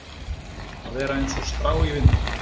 Að vera eins og strá í vindi